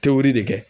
Tewu de kɛ